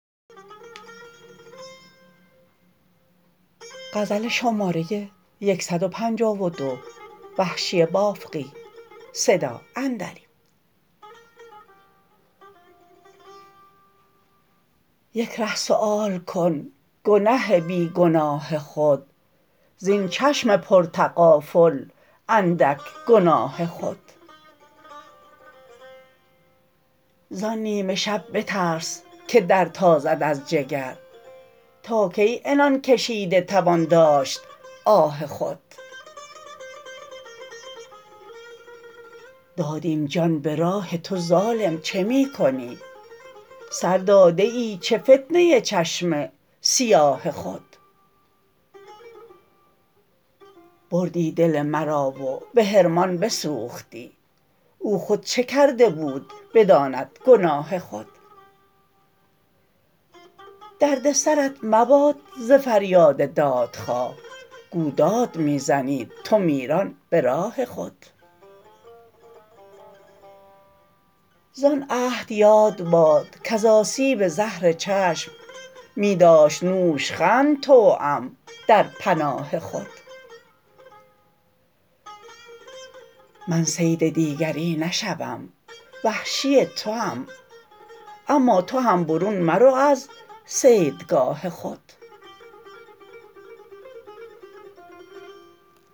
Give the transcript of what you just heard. یک ره سؤال کن گنه بی گناه خود زین چشم پر تغافل اندک گناه خود زان نیمه شب بترس که در تازد از جگر تا کی عنان کشیده توان داشت آه خود دادیم جان به راه تو ظالم چه می کنی سر داده ای چه فتنه چشم سیاه خود بردی دل مرا و به حرمان بسوختی او خود چه کرده بود بداند گناه خود درد سرت مباد ز فریاد دادخواه گو داد می زنید تو میران به راه خود زان عهد یاد باد کز آسیب زهر چشم می داشت نوشخند توام در پناه خود من صید دیگری نشوم وحشی توام اما تو هم برون مرو از صیدگاه خود